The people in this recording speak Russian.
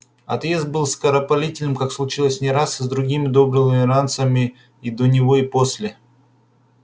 отъезд был скоропалительным как случалось не раз и с другими добрыми ирландцами и до него и после